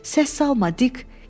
Səs salma, Dik.